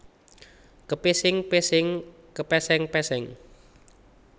Kepesing pesing kepéséng péséng